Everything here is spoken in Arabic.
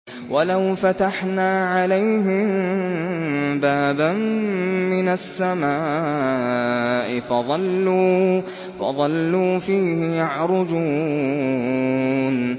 وَلَوْ فَتَحْنَا عَلَيْهِم بَابًا مِّنَ السَّمَاءِ فَظَلُّوا فِيهِ يَعْرُجُونَ